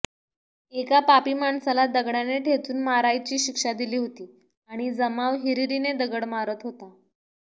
एका पापी माणसाला दगडाने ठेचून मारायची शिक्षा दिली होती आणि जमाव हिरीरीने दगडे मारत होता